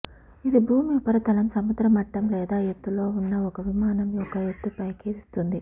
ఇది భూమి ఉపరితలం సముద్ర మట్టం లేదా ఎత్తులో ఉన్న ఒక విమానం యొక్క ఎత్తుపైకి ఇస్తుంది